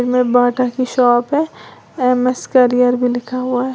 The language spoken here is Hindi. में बहुत अच्छी शॉप है एम_एस करियर भी लिखा हुआ है।